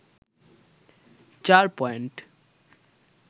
৪ point